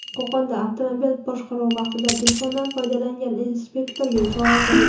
Qo‘qonda avtomobil boshqaruvi vaqtida telefondan foydalangan inspektorga chora ko‘rildi.